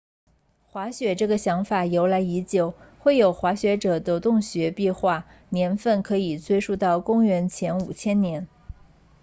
滑雪这个想法由来已久绘有滑雪者的洞穴壁画年份可以追溯到公元前5000年